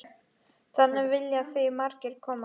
Þarna vilja því margir koma.